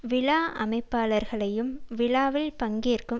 விழா அமைப்பாளர்களையும் விழாவில் பங்கேற்கும்